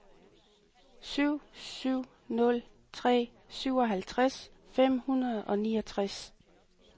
syv syv nul tre syvoghalvtreds fem hundrede og niogtres